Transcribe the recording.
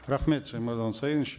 рахмет шаймардан усаинович